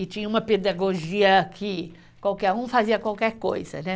E tinha uma pedagogia que qualquer um fazia qualquer coisa. Né?